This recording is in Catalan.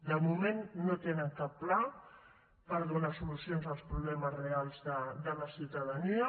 de moment no tenen cap pla per donar solucions als problemes reals de la ciutadania